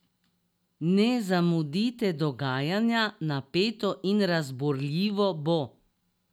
Ne zamudite dogajanja, napeto in razburljivo bo!